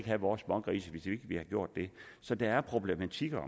have vores smågrise hvis ikke vi har gjort det så der er problematikker